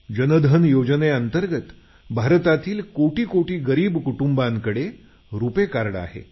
जनधन योजनेअंतर्गत भारतातील कोटीकोटी गरीब कुटुंबांकडे रुपे कार्ड आहे